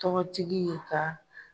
Tɔgɔtigi ye ka